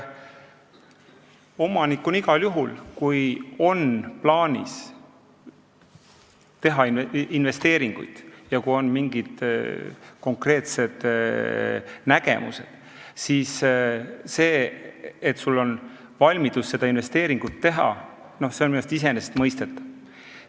Omanikuna igal juhul, kui on plaanis teha investeeringuid ja kui on mingid konkreetsed nägemused, siis see, et sul on valmidus seda investeeringut teha, on minu meelest iseenesestmõistetav.